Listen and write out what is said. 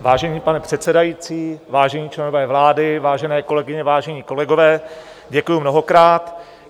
Vážený pane předsedající, vážení členové vlády, vážené kolegyně, vážení kolegové, děkuji mnohokrát.